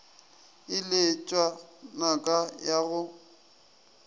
e letšwa naka ya go